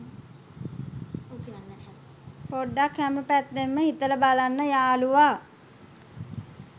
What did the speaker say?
පොඩ්ඩක් හැම පැත්තෙන්ම හිතල බලන්න යාළුවා